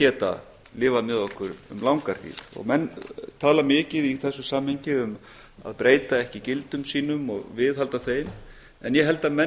geta lifað með okkur um langa hríð menn tala mikið í þessu samhengi um að breyta ekki gildum sínum og viðhalda þeim en ég held að menn